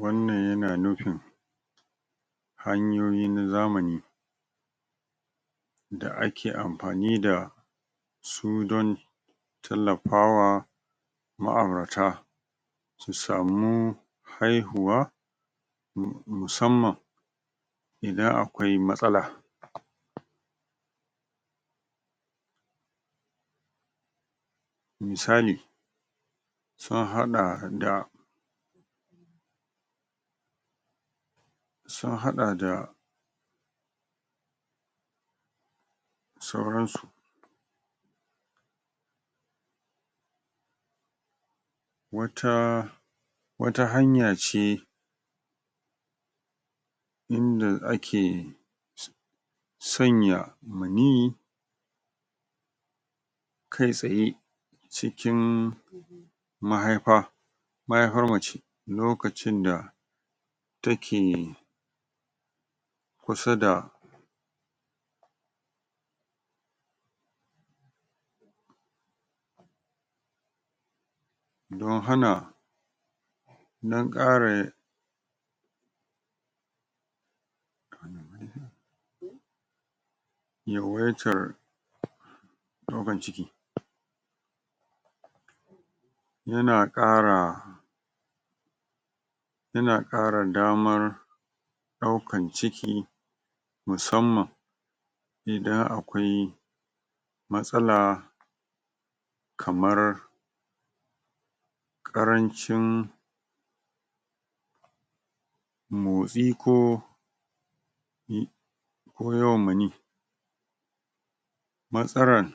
wannan yana nufin hanyoyi na zamani da ake amfani da su don tallafawa ma'aurata ki samu haihuwa musamman idan akwai matsala misali sun haɗa da sun haɗa da sauran su wata, wata hanya ce inda ake sanya maniyyi kai tsaye cikin mahaifa mahaifar mace lokacin da take kusa da don hana dan ƙara yin yawaitar ɗaukan ciki yana ƙara yana ƙara damar ɗaukan ciki musamman idan akwai matsala kamar ƙarancin motsi ko ko yawan maniyi matsalar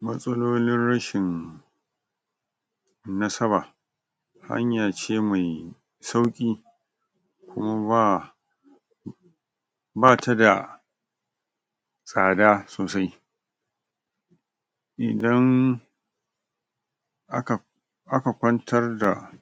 matsalolin rashin nasaba hanya ce mai sauƙi amma bata da tsada sosai idan aka aka kwantar da.